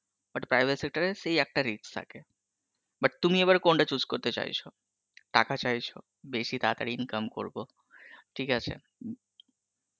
but private sector এ সেই একটা risk থাকে, but তুমি এইবার কোনটা choose করতে চাইছো, টাকা চাইছো? বেসি তাড়াতাড়ি income করবো, ঠিক আছে